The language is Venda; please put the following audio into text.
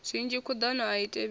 zwinzhi khuḓano a i thivhelei